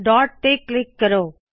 dot ਤੇ click ਕਰੋ